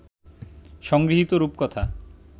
সংগৃহীত রূপকথা